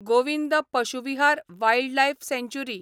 Govind Pashu Vihar wildlife सँचुरी